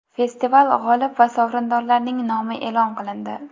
Festival g‘olib va sovrindorlarining nomi e’lon qilindi.